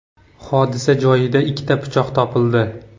Hodisa joyida ikkita pichoq topildi.